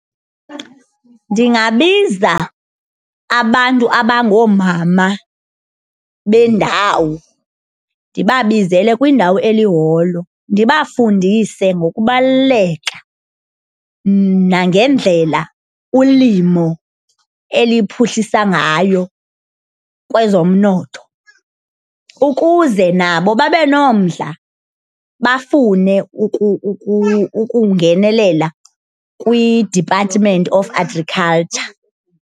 Ndingabiza abantu abangoomama bendawo ndibabizele kwindawo eliholo, ndibafundise ngokubaluleka nangendlela ulimo eliphuhlisa ngayo kwezomnotho. Ukuze nabo babe nomdla bafune ukuba ukungenelela kwi-department of agriculture.